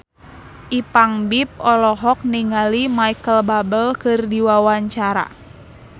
Ipank BIP olohok ningali Micheal Bubble keur diwawancara